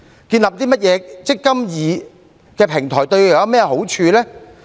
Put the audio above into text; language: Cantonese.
建立甚麼"積金易"的平台對他們有何好處？